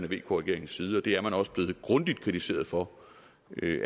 vk regerings side og det er man også blevet grundigt kritiseret for